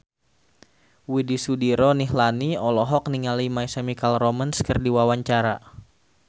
Widy Soediro Nichlany olohok ningali My Chemical Romance keur diwawancara